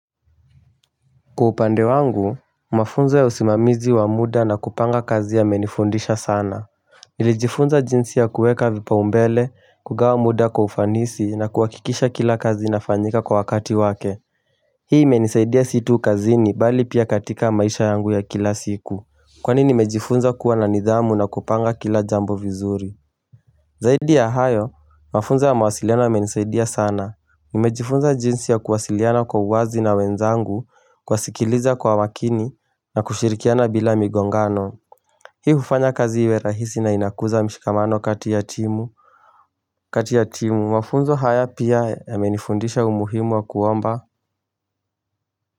Kwa upande wangu, mafunzo ya usimamizi wa muda na kupanga kazi yamenifundisha sana Nilijifunza jinsi ya kueka vipaumbele, kugawa muda kwa ufanisi na kuhakikisha kila kazi inafanyika kwa wakati wake Hii imenisaidia si tu kazini bali pia katika maisha yangu ya kila siku Kwani nimejifunza kuwa na nidhamu na kupanga kila jambo vizuri Zaidi ya hayo, mafunzo ya mawasiliano yamenisaidia sana Nimejifunza jinsi ya kuwasiliana kwa uwazi na wenzangu kuwasikiliza kwa makini na kushirikiana bila migongano Hii hufanya kazi iwe rahisi na inakuza mshikamano kati ya timu kati ya timu mafunzo haya pia yamenifundisha umuhimu wa kuomba.